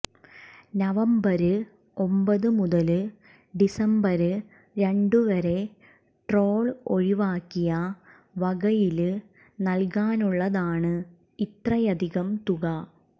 November ഒമ്പത് മുതല് December രണ്ടുവരെ ടോള് ഒഴിവാക്കിയ വകയില് നല്കാനുള്ളതാണ് ഇത്രയധികം തുക